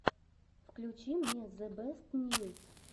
включи мне зэбэстньюс